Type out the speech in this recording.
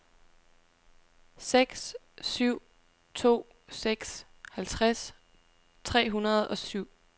seks syv to seks halvtreds tre hundrede og syv